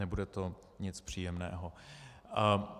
Nebude to nic příjemného.